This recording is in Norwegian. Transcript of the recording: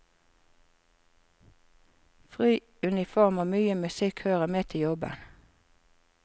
Fri uniform og mye musikk hører med til jobben.